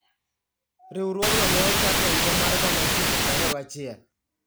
Riwruogno ne ochaki e higa mar 1921.